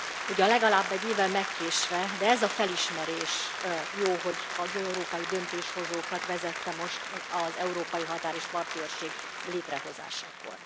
Ugyan legalább egy évvel megkésve, de ez a felismerés jó, hogy az európai döntéshozókat vezette most az Európai Határ és Parti Őrség létrehozásakor.